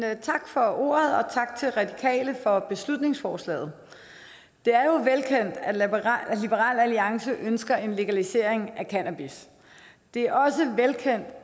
tak for ordet og tak til radikale venstre for beslutningsforslaget det er jo velkendt at liberal alliance ønsker en legalisering af cannabis det er også velkendt